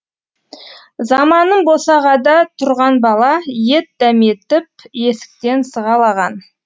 заманым босағада тұрған бала ет дәметіп есіктен сығалаған